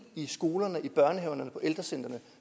i skolerne i børnehaverne på ældrecentrene